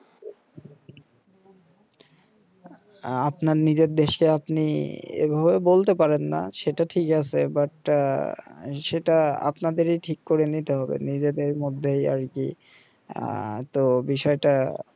আহ আপনার নিজের দেশে আপনি এইভাবে বলতে পারেন না সেটা ঠিক আছে but আহ সেটা আপনাদেরই ঠিক করে নিতে হবে নিজে দেড় মধ্যে আর কি আহ তো বিষয় তা